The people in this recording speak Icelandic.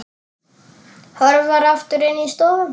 Hörfar aftur inn í stofu.